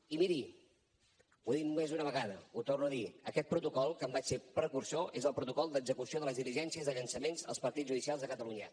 i miri ho he dit més d’una vegada ho torno a dir aquest protocol que en vaig ser precursor és el protocol d’execució de les diligències de llançaments als partits judicials de catalunya